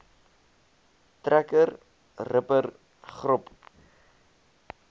trekker ripper grop